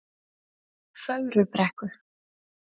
Fögrubrekku